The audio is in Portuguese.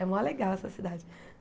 É mó legal essa cidade.